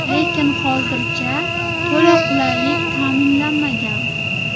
Lekin hozircha to‘la qulaylik ta’minlanmagan.